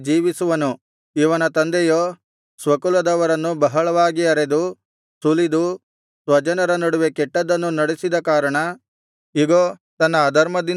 ಇವನ ತಂದೆಯೋ ಸ್ವಕುಲದವರನ್ನು ಬಹಳವಾಗಿ ಅರೆದು ಸುಲಿದು ಸ್ವಜನರ ನಡುವೆ ಕೆಟ್ಟದನ್ನು ನಡೆಸಿದ ಕಾರಣ ಇಗೋ ತನ್ನ ಅಧರ್ಮದಿಂದಲೇ ಸಾಯುವನು